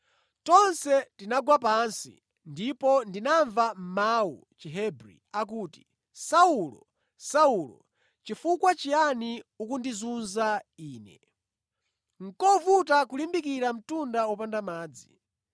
Tonse tinagwa pansi ndipo ndinamva mawu mʼChihebri akuti, ‘Saulo, Saulo chifukwa chiyani ukundizunza Ine? Nʼkovuta kulimbikira mtunda wopanda madzi.’ ”